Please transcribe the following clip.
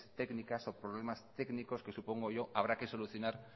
técnicas o problemas técnicos que supongo yo habrá que solucionar